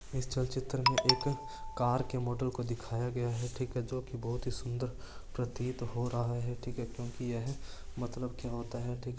इस चल चित्र में एक कार के मॉडल को दिखाया गया है ठीक है जो कि बहुत ही सुन्दर प्रतीत हो रहा है ठीक है क्यूकि यह मतलब क्या होता है ठीक है।